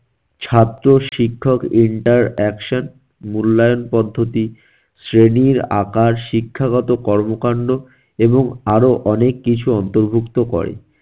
ছাত্র শিক্ষক interaction মূল্যায়ন পদ্ধতি, শ্রেণীর আকার, শিক্ষাগত কর্মকাণ্ড এবং আরো অনেক কিছু অন্তর্ভুক্ত করে।